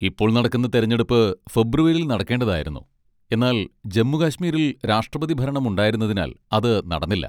ഇപ്പോൾ നടക്കുന്ന തിരഞ്ഞെടുപ്പ് ഫെബ്രുവരിയിൽ നടക്കേണ്ടതായിരുന്നു, എന്നാൽ ജമ്മു കശ്മീരിൽ രാഷ്ട്രപതിഭരണം ഉണ്ടായിരുന്നതിനാൽ അത് നടന്നില്ല.